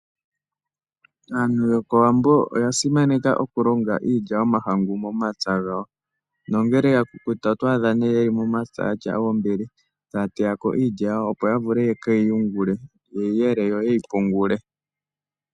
Aantu yokOwambo oya simaneka okulonga iilya yomahangu momapya gawo. Nongele ya kukuta oto adha ta ya teya iilya opo ya vule ye keyi yungule. Ye yi yele yo yeyi pungule.